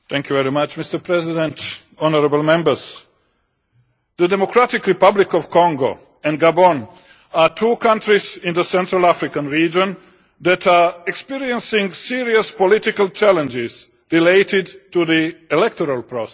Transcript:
Mr President, honourable members, the Democratic Republic of Congo and Gabon are two countries in the Central African region that are experiencing serious political challenges related to the electoral process.